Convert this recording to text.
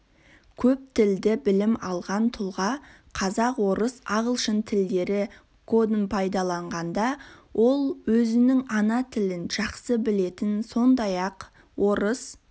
көптілді білім алған тұлға қазақ орыс ағылшын тілдері кодын пайдаланғанда ол өзінің ана тілін жақсы білетін сондай-ақ орыс